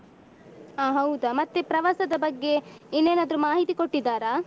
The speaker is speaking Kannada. ಹ ಹೌದಾ ಮತ್ತೆ ಪ್ರವಾಸದ ಬಗ್ಗೆ ಇನ್ನೇನಾದ್ರು ಮಾಹಿತಿ ಕೊಟ್ಟಿದ್ದಾರಾ?